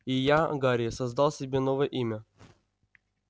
и я гарри создал себе новое имя